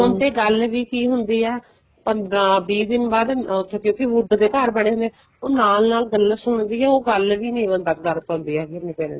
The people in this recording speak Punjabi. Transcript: ਫੋਨ ਤੇ ਗੱਲ ਕੀ ਹੁੰਦੀ ਏ ਪੰਦਰਾਂ ਵੀਹ ਦਿਨ ਬਾਅਦ ਉੱਥੇ ਕਿਉਂਕਿ wood ਦੇ ਘਰ ਬਣੇ ਹੋਏ ਹੈ ਨਾਲ ਨਾਲ ਗੱਲਾਂ ਸੁਣਦੀ ਏ ਉਹ ਗੱਲ ਵੀ ਨਹੀਂ ਬੰਦਾ ਕਰ ਪਾਂਦੇ ਹੈਗੇ ਮੈਂ ਤੇਰੇ ਨਾਲ